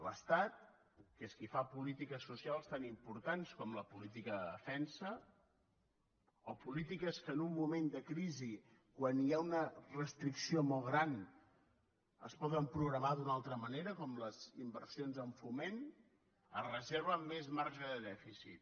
l’estat que és qui fa polítiques socials tan importants com la política de defensa o polítiques que en un moment de crisi quan hi ha una restricció molt gran es poden programar d’una altra manera com les inversions en foment es reserva més marge de dèficit